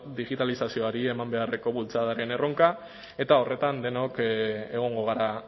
digitalizazioari eman beharreko bultzadaren erronka eta horretan denok egongo gara